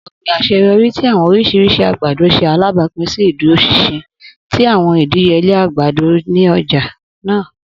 Ogbin aṣeyọri ti awọn oriṣiriṣi agbado ṣe alabapin si iduroṣinṣin ti awọn idiyele agbado ni ọja naa.